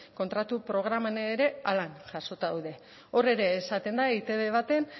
kontratu programan ere horrela jasota daude hor ere esaten da etb baten